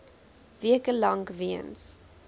weke lank weens